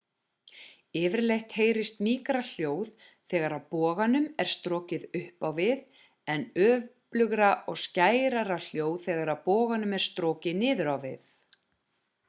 yfirleitt heyrist mýkra hljóð þegar boganum er strokið upp á við en öflugra og skærara hljóð þegar boganum er strokið niður á við